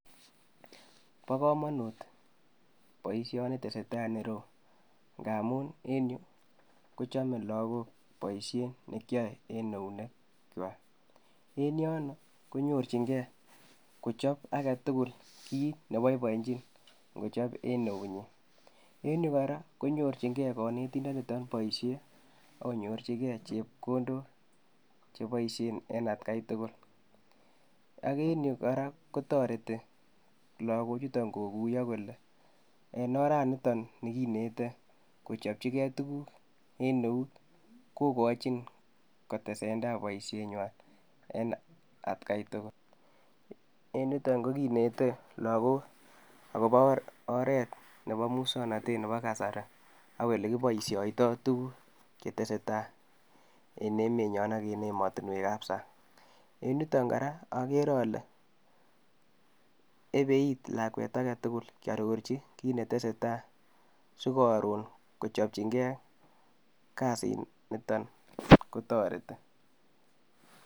Bo komonut boisioni tesetai enero ngamu en yu kochome lagok boisiet nekiae eng eunekwak en yon konyorchinkei kochob agetugul kiit ne boibojin kochob eng eut nyi eng yu kora konyorchin kei kanetindonitok boisiet ago nyorchigei chepkondok cheboisie eng atkai tugul ak enyu kora kotoreti lagok chutok koguiyo kole eng oranitoni kinetech kochopchigei tuguk en eut kokochin kotesetai boisietnywa eng atkai tugul. Eng yutok koginete lagok agobo oret nebo musonotot nebo kasari agolekiboisyoitoi tuguk chetesei tai eng emet nyo ak eng ematinwek ab sang. Eng yutok kora agere ale ebeiit lakwet agetugul kiarorchi kiit netesetai sigaron kochopchingei kasit nito kotoreti.